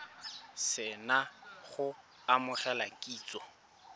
se na go amogela kitsiso